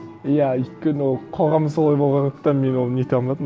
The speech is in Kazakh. иә өйткені ол қоғам солай болғандықтан мен оны нете алмадым